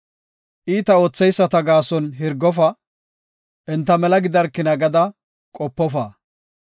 Iita ootheyisata gaason hirgofa; enta mela gidarkina gada qopofa.